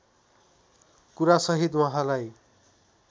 कुरा सहित वहाँलाई